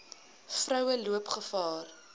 vroue loop gevaar